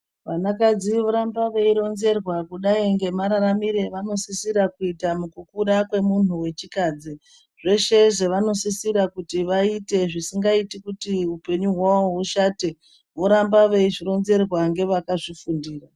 Vanakadzi voramba veironzerwa kusai ngemararamiro avanosisira kuita mukukura kwemunhu wechikadzi zvese zvavanosisira kuti vaite zvisikaiti kuti upenyu hwavo ushate, voramba veizvitonzerwa ngevakazvifundira.